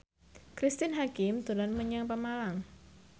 Cristine Hakim dolan menyang Pemalang